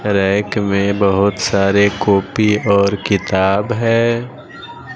Rank में बहुत सारे कापी और किताब है।